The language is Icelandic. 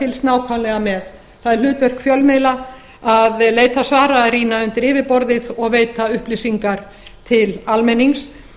fylgst nákvæmlega með það er hlutverk fjölmiðla að leita svara að rýna undir yfirborðið og veita upplýsingar til almennings